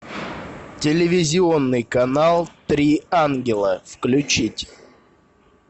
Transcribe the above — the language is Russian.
телевизионный канал три ангела включить